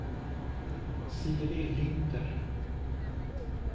Siri Linder